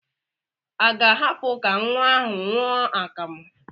A ga-ahapụ ka nwa ahụ ṅụọ akamụ?